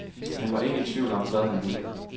Han var ikke i tvivl om, hvad han ville.